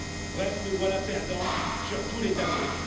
Bref, nous sommes perdants sur tous les tableaux.